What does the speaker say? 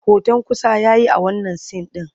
Hoton kusa ya yi a wannan sin ɗin.